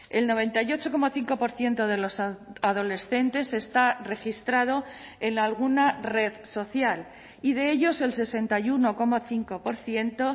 el noventa y ocho coma cinco por ciento de los adolescentes está registrado en alguna red social y de ellos el sesenta y uno coma cinco por ciento